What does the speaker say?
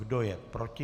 Kdo je proti?